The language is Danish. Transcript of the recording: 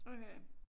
Okay